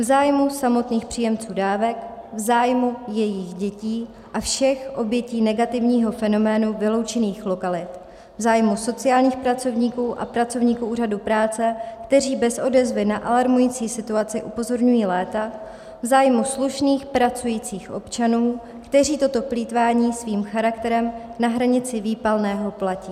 V zájmu samotných příjemců dávek, v zájmu jejich dětí a všech obětí negativního fenoménu vyloučených lokalit, v zájmu sociálních pracovníků a pracovníků Úřadu práce, kteří bez odezvy na alarmující situaci upozorňují léta, v zájmu slušných, pracujících občanů, kteří toto plýtvání svým charakterem na hranici výpalného platí.